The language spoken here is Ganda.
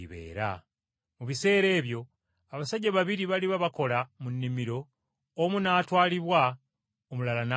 Mu biseera ebyo abasajja babiri baliba bakola mu nnimiro, omu n’atwalibwa omulala n’alekebwa.